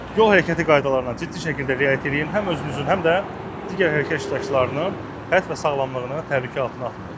Yol hərəkəti qaydalarına ciddi şəkildə riayət eləyib, həm özünüzün, həm də digər hərəkət iştirakçılarının həyat və sağlamlığını təhlükə altına atmayın.